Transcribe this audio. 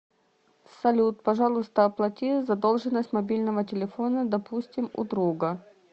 салют пожалуйста оплати задолженность мобильного телефона допустим у друга